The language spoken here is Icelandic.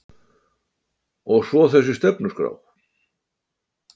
Og svo þessi stefnuskrá